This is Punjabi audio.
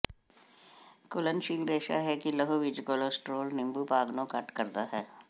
ਘੁਲਣਸ਼ੀਲ ਰੇਸ਼ਾ ਹੈ ਕਿ ਲਹੂ ਵਿੱਚ ਕੋਲੇਸਟ੍ਰੋਲ ਨਿੰਬੂ ਭਾਗ ਨੂੰ ਘੱਟ ਕਰਦਾ ਹੈ